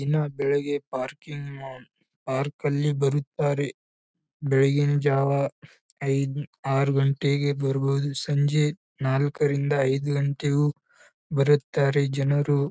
ದಿನ ಬೆಳಿಗ್ಗೆ parking uh park ಅಲ್ಲಿ ಬರುತ್ತಾರೆ ಬೆಳಗಿನ ಜಾವ ಐದ್ ಆರ್ ಗಂಟೆಗೆ ಬರ್ಬೋದು ಸಂಜೆ ನಾಲ್ಕ್ ರಿಂದ ಐದ್ ಗಂಟೆಗು ಬರುತ್ತಾರೆ ಜನರು